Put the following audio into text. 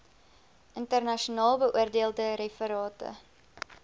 internasionaal beoordeelde referate